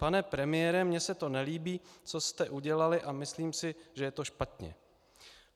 Pane premiére, mně se to nelíbí, co jste udělali a myslím si, že je to špatně."